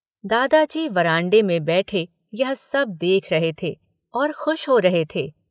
दादाजी वरांडे में बैठे यह सब देख रहे थे और खुश हो रहे थे।